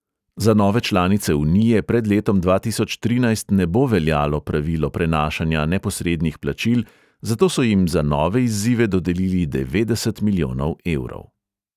Za nove članice unije pred letom dva tisoč trinajst ne bo veljalo pravilo prenašanja neposrednih plačil, zato so jim za nove izzive dodelili devetdeset milijonov evrov.